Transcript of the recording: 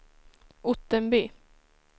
Ottenby